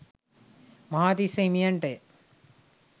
Mahatissa හිමියන්ටය.